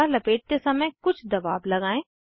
कपडा लपेटते समय कुछ दबाव लगाएं